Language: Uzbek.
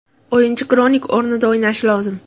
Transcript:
O‘yinchi Kronik o‘rnida o‘ynashi lozim.